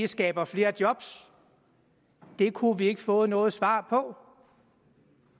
skaber flere job det kunne vi ikke få noget svar på